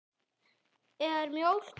Er mjólk holl?